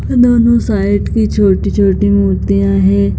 और दोनों साइड की छोटी-छोटी मूर्तिया है।